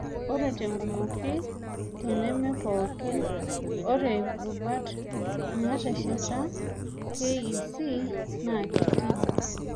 Ore tenkumoki, teneme pookin, ore rubat naatesheta KEC naa keetii.